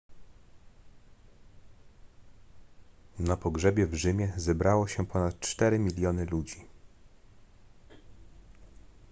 na pogrzebie w rzymie zebrało się ponad cztery miliony ludzi